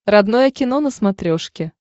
родное кино на смотрешке